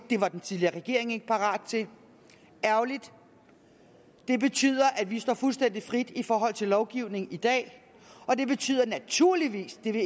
det var den tidligere regering ikke parat til ærgerligt det betyder at vi står fuldstændig frit i forhold til lovgivningen i dag og det betyder naturligvis det vil